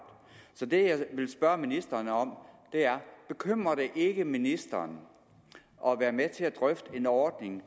så det jeg vil spørge ministeren om er bekymrer det ikke ministeren at være med til at drøfte en ordning